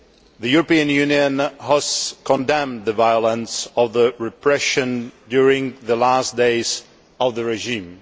The European Union has condemned the violence of the repression during the last days of the regime.